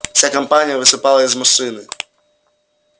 вся компания высыпала из машины